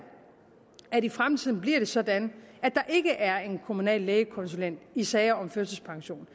at det i fremtiden bliver sådan at der ikke er en kommunal lægekonsulent i sager om førtidspension